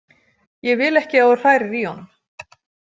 Ég vil ekki að þú hrærir í honum.